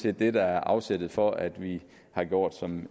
er det der er afsættet for at vi har gjort som